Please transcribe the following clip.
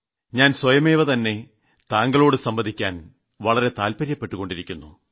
ഞാൻ സ്വയമേവതന്നെ താങ്കളോട് സംവദിക്കാൻ വളരെ താല്പര്യപ്പെട്ടുകൊണ്ടിരിക്കുന്നു